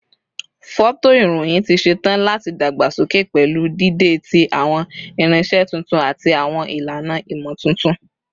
Fọtoirohin ti ṣetan lati dagbasoke pẹlu dide ti awọn irinṣẹ tuntun ati awọn ilana imotuntun